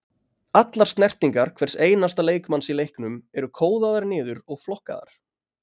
Allar snertingar hvers einasta leikmanns í leiknum eru kóðaðar niður og flokkaðar.